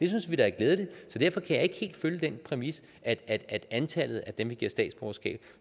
synes vi da er glædeligt så derfor kan jeg ikke helt følge den præmis at antallet af dem vi giver statsborgerskab